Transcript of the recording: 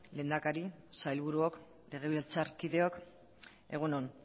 lehendakari sailburuok legebiltzarkideok egun on